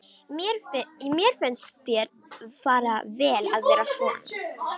Mér finnst þér fara vel að vera svona.